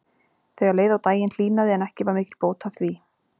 Þegar leið á daginn hlýnaði en ekki var mikil bót að því.